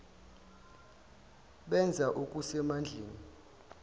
benza okuse mandleni